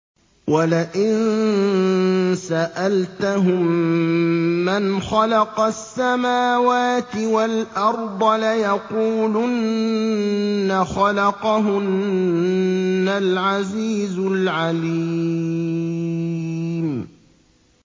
وَلَئِن سَأَلْتَهُم مَّنْ خَلَقَ السَّمَاوَاتِ وَالْأَرْضَ لَيَقُولُنَّ خَلَقَهُنَّ الْعَزِيزُ الْعَلِيمُ